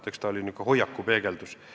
Eks ta oli hoiaku peegeldus.